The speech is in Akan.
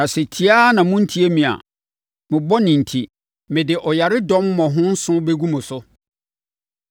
“ ‘Na sɛ tie ara na monntie me a, mo bɔne enti, mede ɔyaredɔm mmɔho nson bɛgu mo so.